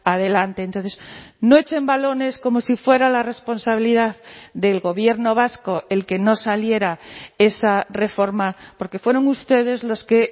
adelante entonces no echen balones como si fuera la responsabilidad del gobierno vasco el que no saliera esa reforma porque fueron ustedes los que